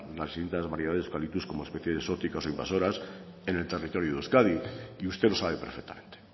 las distintas variedades de eucalyptus como especies exóticas o invasoras en el territorio de euskadi y usted lo sabe perfectamente